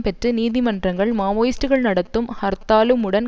பெற்று நீதிமன்றங்கள் மாவோயிஸ்டுக்கள் நடத்தும் ஹர்த்தாலும் வுடன்